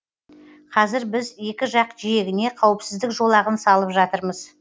қазір біз екі жақ жиегіне қауіпсіздік жолағын салып жатырмыз